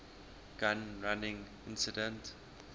gun running incident